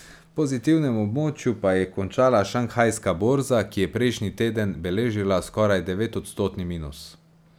V pozitivnem območju pa je končala šanghajska borza, ki je prejšnji teden beležila skoraj devetodstotni minus.